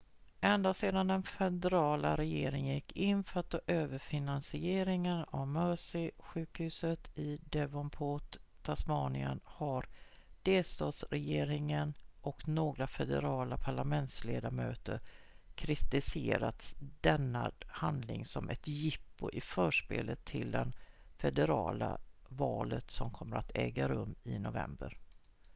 ända sedan den federala regeringen gick in för att ta över finansieringen av mersey-sjukhuset i devonport tasmanien har delstatsregeringen och några federala parlamentsledamöter kritiserat denna handling som ett jippo i förspelet till det federala valet som kommer att äga rum i november